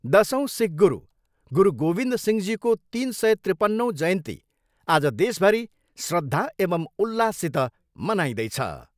दसौँ सिख गुरु, गुरु गोविद सिंहजीको तिन सय त्रिपनौँ जयन्ती आज देशभरि श्रद्धा एवम् उल्लाससित मनाइँदैछ।